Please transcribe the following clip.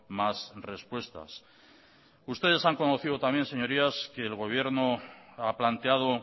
más respuestas ustedes han conocido también señorías que el gobierno ha planteado